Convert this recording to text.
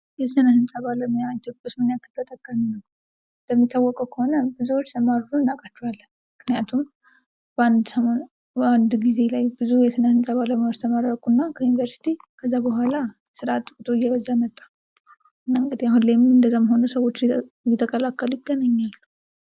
የስነ ህንፃ ባለሙያ ኢትዮጵያ ውስጥ ምን ያክል ተጠቃሚ ነው? እንደሚታወቀው ከሆነ ብዙ ሲያማርሩ እናቃቸዋለን። ምክንያቱም በአንድ ሰሞን በአንድ ጊዜ ላይ ብዙ ተማሪዎች ተመረቁና ከዩኒቨርስቲ ከዛ በኋላ ስራአጥ ቁጥር እየበዛ መጣ እንግዲህ አሁን ላይም እንደዛም ሆኖ እየተቀላቀሉ ይገኛሉ።